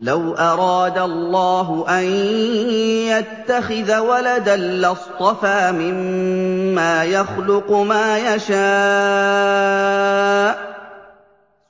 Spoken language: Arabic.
لَّوْ أَرَادَ اللَّهُ أَن يَتَّخِذَ وَلَدًا لَّاصْطَفَىٰ مِمَّا يَخْلُقُ مَا يَشَاءُ ۚ